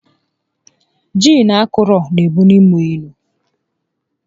Jiin akọrọ n'ebuli mmụọ elu